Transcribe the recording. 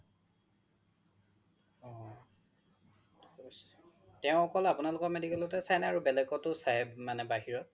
তেও অকল আপোনালোকৰ medical তে চাই নে আৰু বেলেগতো চাই মানে বাহিৰত